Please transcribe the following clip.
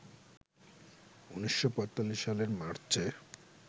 ১৯৪৫ সালের মার্চে